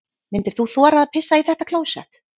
Myndir þú þora að pissa í þetta klósett?